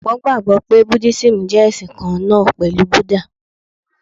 Ọ̀pọ̀ gbàgbọ́ pé Buddhism jẹ́ ẹ̀sìn kan náà pẹ̀lú Buddha.